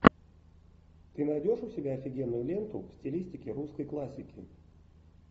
ты найдешь у себя офигенную ленту в стилистике русской классики